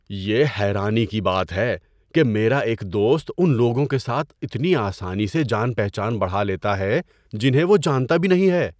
یہ حیرانی کی بات ہے کہ میرا ایک دوست ان لوگوں کے ساتھ اتنی آسانی سے جان پہچان بڑھا لیتا ہے جنہیں وہ جانتا بھی نہیں ہے۔